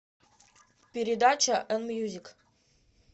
передача эн мьюзик